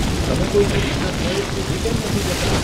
તમે કોઈ નજીકના સ્થળે થોભી કેમ નથી જતાં?